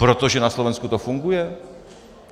Protože na Slovensku to funguje?